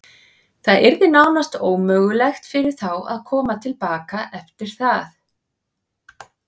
Það yrði nánast ómögulegt fyrir þá að koma til baka eftir það.